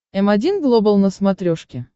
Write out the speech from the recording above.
м один глобал на смотрешке